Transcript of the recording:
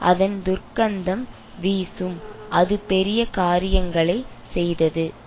அதன் துர்க்கந்தம் வீசும் அது பெரிய காரியங்களை செய்தது